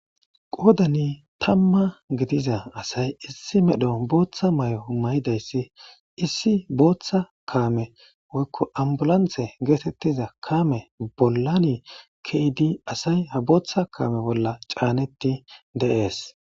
Qoddan tamma giidiza asay issi medhdho booththa maayo mayidaysi issi booththa kaame woyko ambulanse gettetiza kaame bollan keidi asay ha booththa kaame bolla caneti de7es.